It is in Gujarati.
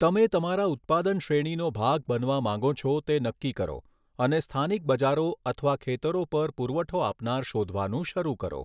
તમે તમારા ઉત્પાદન શ્રેણીનો ભાગ બનવા માંગો છો તે નક્કી કરો અને સ્થાનિક બજારો અથવા ખેતરો પર પુરવઠો આપનાર શોધવાનું શરૂ કરો.